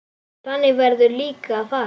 Þannig verður líka að fara.